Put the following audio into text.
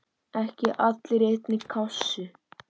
Ekki allir í einni kássu!